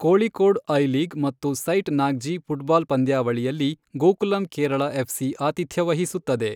Kozhikode I League ಮತ್ತು Sait Nagjee football ಪಂದ್ಯಾವಳಿಯಲ್ಲಿ Gokulam Kerala FC ಆತಿಥ್ಯ ವಹಿಸುತ್ತದೆ.